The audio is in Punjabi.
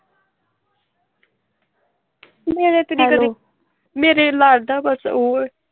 ਮੇਰੇ ਕਦੀ ਕਦੀ ਹੈਲੋ ਮੇਰੇ ਲੱਗਦਾ ਕੁਛ ਓਹ।